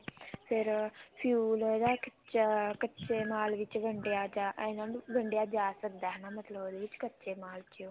ਫ਼ੇਰ fuel ਇਹਦਾ ਕੱਚੇ ਮਾਲ ਵਿੱਚ ਵੰਡੀਆਂ ਜਾ ਸਕਦਾ ਹੈ ਉਹਦੇ ਵਿੱਚ ਮਤਲਬ ਕੱਚੇ ਮਾਲ ਵਿੱਚ